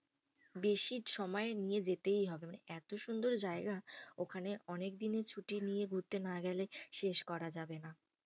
বেশি সময় নিয়ে যেতেই হবে। মানে এত সুন্দর জায়গা, ওখানে অনেকদিনের ছুটি নিয়ে ঘুরতে না গেলে শেষ করা যাবে না।